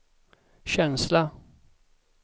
känsla